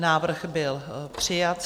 Návrh byl přijat.